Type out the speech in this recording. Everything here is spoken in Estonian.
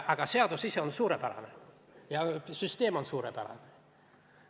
Aga seadus ise on suurepärane ja süsteem on suurepärane.